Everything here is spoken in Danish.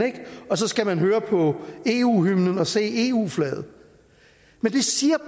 og så skal man høre på eu hymnen og se eu flaget det siger